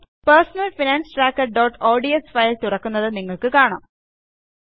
personal finance trackerഓഡ്സ് file തുറക്കുന്നത് നിങ്ങൾക്ക് കാണാം